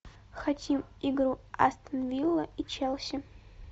хотим игру астон вилла и челси